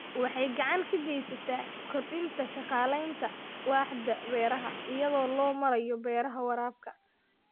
Waxay gacan ka geysataa kordhinta shaqaalaynta waaxda beeraha iyada oo loo marayo beeraha waraabka.